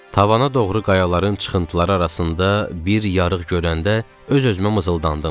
Tavana doğru qayaların çıxıntıları arasında bir yarıq görəndə öz-özümə mızıldandım.